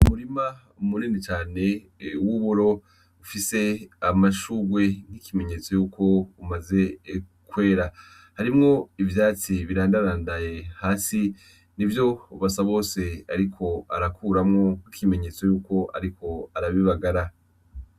Umurima umunine cane wuburo ufise amashugwe ng'ikimenyetso yuko umaze kwera harimwo ivyatsi birandarandaye hasi ni vyo Basabose, ariko arakuramwo ikimenyetso yuko, ariko arabibagara.